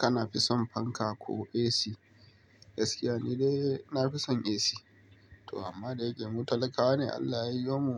Kana fison fanka ko AC? Gaskiya ni dai na fi son AC to amma da yake mu talakawa ne Allah ya yiwo mu